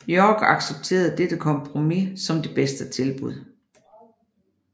York accepterede dette kompromis som det bedste tilbud